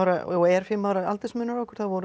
og er fimm ára aldursmunur á okkur vorum við